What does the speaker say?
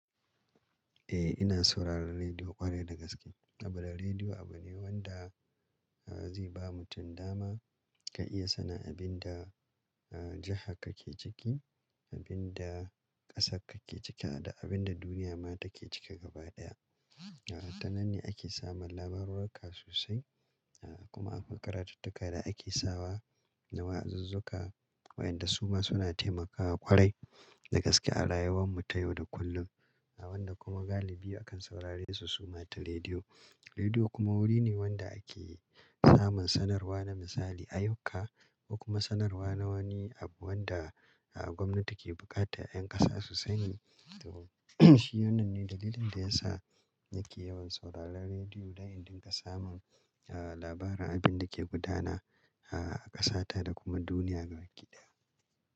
Eh ina sauraron rediyo ƙwarai da gaske. A bira rediyo abu ne wanda zai ba mutum dama ka iya sanin abin da jiha ka ke ciki, abin da ƙasa ka ke cika da abin da duniya ma take cika gabaɗaya. Tanan ne ake samun labarurruka sosai kuma akwai karatattuka da ake sawa na wa'azuzzuka wa'yanda su ma suna taimakawa ƙwarai da gaske a rayuwar mu ta yau da kullum. Wanda kuma galibi akan saurare su suma ta rediyo. Rediyo kuma wuri ne wanda ake samun sanarwa na misali ayyuka ko kuma sanarwa na wani abu wanda gwamnati ke buƙata ƴan ƙasa su sani. To shi wannan ne dalilin da yasa nake yawan sauraron rediyo don in dinga samun labarin abin da ke gudana a ƙasa ta da kuma duniya gabakiɗaya.